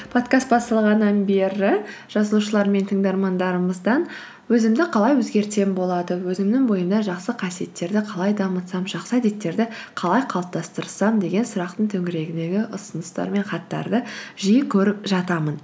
подкаст басталғаннан бері жазушылар мен тыңдармандарымыздан өзімді қалай өзгертсем болады өзімнің бойымда жақсы қасиеттерді қалай дамытсам жақсы әдеттерді қалай қалыптастырсам деген сұрақтың төңірегіндегі ұсыныстар мен хаттарды жиі көріп жатамын